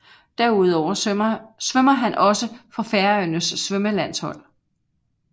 Derudover svømmer han også for Færøernes svømmelandshold